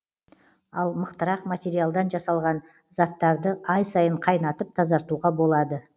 ал мықтырақ материалдан жасалған заттарды ай сайын қайнатып тазартуға болады